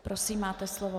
Prosím, máte slovo.